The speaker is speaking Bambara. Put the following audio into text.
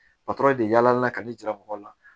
Patɔrɔn de yala yala ka ne jira mɔgɔw la